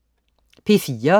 P4: